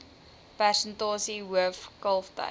persentasie hoof kalftyd